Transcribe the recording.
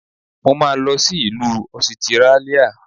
Mo máa lọ sí ìlú Ọsitírálíà.